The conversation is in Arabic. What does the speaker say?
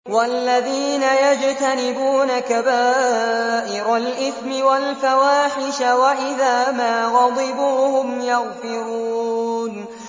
وَالَّذِينَ يَجْتَنِبُونَ كَبَائِرَ الْإِثْمِ وَالْفَوَاحِشَ وَإِذَا مَا غَضِبُوا هُمْ يَغْفِرُونَ